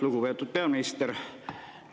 Lugupeetud peaminister!